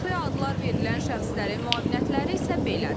Fəxri adlar verilən şəxslərin müavinətləri isə belədir.